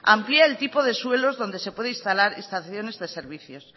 amplía el tipo de suelos donde se puede instalar estaciones de servicios